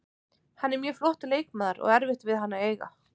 Hann er mjög flottur leikmaður og erfitt við hann að eiga.